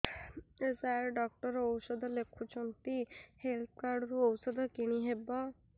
ସାର doctor ଔଷଧ ଲେଖିଛନ୍ତି health card ରୁ ଔଷଧ କିଣି ହେବ